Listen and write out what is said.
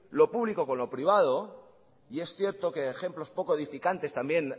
lo público con lo privado y es cierto que ejemplos pocos edificantes también